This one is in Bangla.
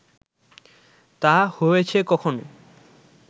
তা হয়েছে কখনো